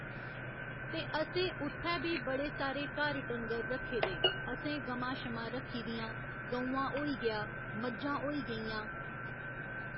ते असें उत्थै बी बड़े सारे घर डंगर रक्खे दे असें गमां शमां रक्खी दियां गौआं होई गेआ मज्जां होई गेइयां